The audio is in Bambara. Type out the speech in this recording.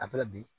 A fana bi